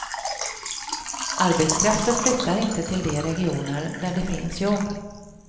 Arbetskraften flyttar inte till de regioner där det finns jobb.